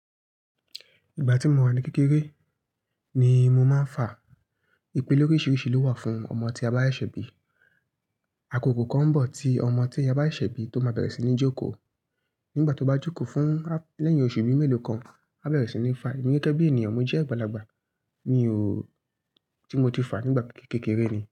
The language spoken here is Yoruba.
Ìgbà tí mo wà ní kékeré, ni mo máa ń fà. Ipe loríṣiríṣi ló wà fún ọmọ tí a bá ṣẹ̀ bí. Àkókò kan ń bọ̀ tí ọmọ tí a bá ṣẹ̀ bí tó máa bẹ̀rẹ̀ sí ní jókòó. Nígbà tó bá jókòó fún, lẹ́yìn oṣù bí mẹ́lòó kan, á bẹ̀rẹ̀ sí ní fà. Èmi gẹ́gẹ́ bí ènìyàn, mo jẹ́ àgbàlagbà, mi ò, tí mo ti fà nígbà kékeré ni.